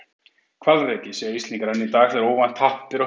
Hvalreki, segja Íslendingar enn í dag þegar óvænt happ ber að höndum.